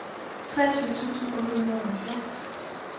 treogtyve tusind otte hundrede og halvfjerds